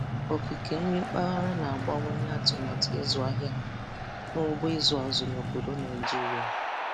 Okike nri mpaghara na-abawanye atụmatụ ịzụ ahịa n'ugbo ịzụ azụ n'obodo Naịjirịa